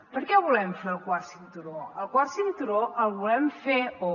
per què volem fer el quart cinturó el quart cinturó el volem fer o